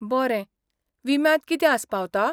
बरें, विम्यांत कितें आस्पावता?